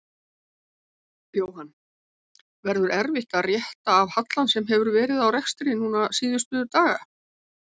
Jóhann: Verður erfitt að rétta af hallann sem hefur verið á rekstri núna síðustu daga?